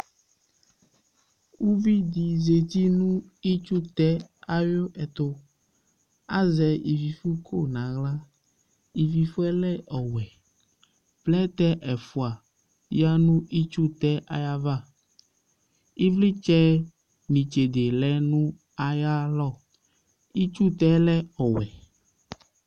Uvi dɩ zati nʋ itsutɛ ayʋ ɛtʋ Azɛ ivifʋko nʋ aɣla Ivifʋ yɛ lɛ ɔwɛ Plɛtɛ ɛfʋa yǝ nʋ itsutɛ ayava Ɩvlɩtsɛ nʋ itsede lɛ nʋ ayalɔ Itsutɛ lɛ ɔwɛ